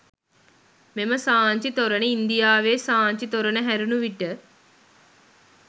මෙම සාංචි තොරණ ඉන්දියාවේ සාංචි තොරණ හැරුණ විට